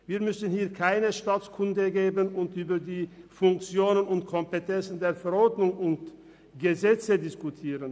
Wir müssen hier keinen Staatskundeunterricht geben und über Funktion und Kompetenz von Verordnungen und Gesetze diskutieren.